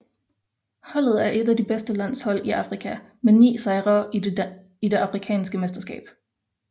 Holdet er et af de bedste landshold i Afrika med ni sejre i det afrikanske mesterskab